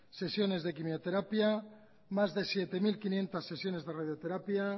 sesiones de quimioterapia más de siete mil quinientos sesiones de radioterapia